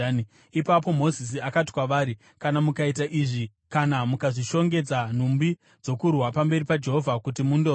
Ipapo Mozisi akati kwavari, “Kana mukaita izvi, kana mukazvishongedza nhumbi dzokurwa pamberi paJehovha kuti mundorwa,